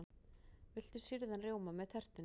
Viltu sýrðan rjóma með tertunni?